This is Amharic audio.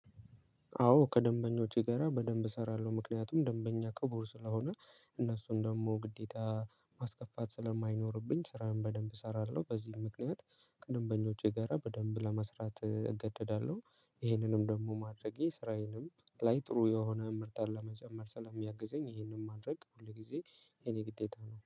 አዎ ከደንበኞቼ ጋራ በደንብ እሰራለሁ ምክንያቱም ደንበኛ ክቡር ስለሆነ እነሱን ደግሞ ግዴታ ማስከፋት ስለማይኖርብኝ ስራዬን በደንብ እሰራለሁ። በዚህ ምክንያት ከደምበኞቼ ጋራ በደንብ ለመስራት እገደዳለሁ። ይሄንንም ደግሞ ማድረጌ ስራዬንም ላይ ጥሩ የሆነ እምርታ ለመጨመር ስለሚያግዘኝ ይሄንን ማድረግ ሁል ጊዜ የኔ ግዴታ ነው